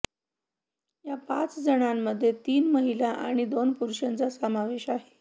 या पाचजणांमध्ये तीन महिला आणि दोन पुरुषांचा समावेश आहे